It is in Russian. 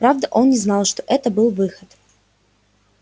правда он не знал что это был выход